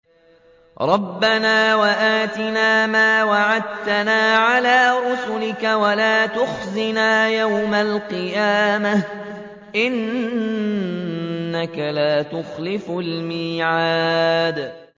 رَبَّنَا وَآتِنَا مَا وَعَدتَّنَا عَلَىٰ رُسُلِكَ وَلَا تُخْزِنَا يَوْمَ الْقِيَامَةِ ۗ إِنَّكَ لَا تُخْلِفُ الْمِيعَادَ